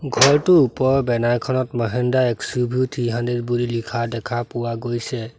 ঘৰটো ওপৰ বেনাৰ খনত মহিন্দ্ৰা এক্স_ইউ_ভি থ্ৰি হান্দ্ৰেড বুলি লিখা দেখা পোৱা গৈছে।